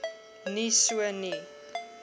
nie so nie